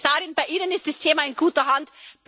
Frau Kommissarin, bei Ihnen ist das Thema in guter Hand.